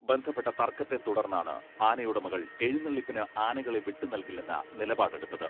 ബന്ധപ്പെട്ട തർക്കത്തെ തുടർന്നാണ് ആനയുടമകൾ എഴുന്നള്ളിപ്പിന് ആനകളെ വിട്ടുനൽകില്ലെന്ന നിലപാടെടുത്തത്.